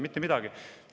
Mitte midagi.